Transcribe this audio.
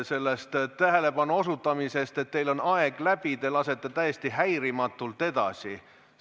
Hoolimata tähelepanu juhtimisest, et teie aeg on läbi, te lasete täiesti häirimatult edasi?